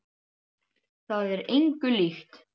Það er engu líkt.